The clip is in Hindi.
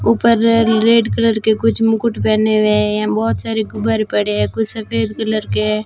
ऊपर रेड कलर के कुछ मुकुट पहने हुए हैं। यहां बहुत सारे गुब्बारे पड़े हैं कुछ सफेद कलर के हैं।